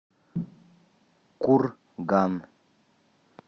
курган